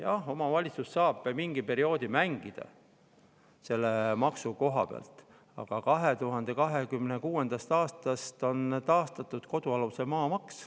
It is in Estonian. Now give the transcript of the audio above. Jah, omavalitsus saab mingi perioodi selle maksu koha pealt mängida, aga 2026. aastast on taastatud kodualuse maa maks.